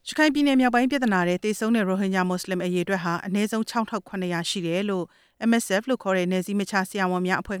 ရခိုင်ပြည်နယ် ပဋိပက္ခတွေထဲ သေဆုံးခဲ့ရတဲ့ ရိုဟင်ဂျာ မွတ်စလင် အရေအတွက်ဟာ ၆၇၀၀ နီးပါး ရှိတယ်လို့ နယ်စည်းမခြား ဆရာဝန်များအဖွဲ့